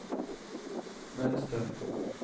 mönster